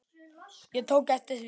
Ég tók eftir því.